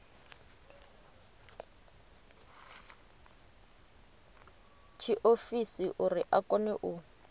tshiofisi uri a kone u